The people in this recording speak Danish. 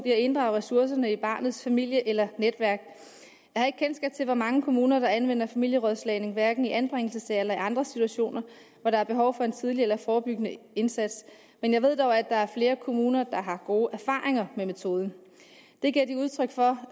i at inddrage ressourcerne i barnets familie eller netværk jeg har ikke kendskab til hvor mange kommuner der anvender familierådslagning hverken i anbringelsessager eller i andre situationer hvor der er behov for en tidlig eller forebyggende indsats men jeg ved dog at der er flere kommuner der har gode erfaringer med metoden det giver de udtryk for